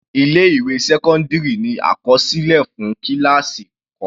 Ilé ìwé sẹ́cọ́ndírì ní àkọsílẹ̀ fún kíláásì kọ̀ọ̀kàn.